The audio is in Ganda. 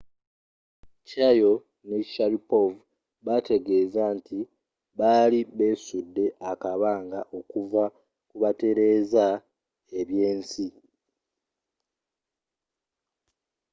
chiao ne sharipov baategeza nti bali beesudde akabanga okuva kubatereza ebyensi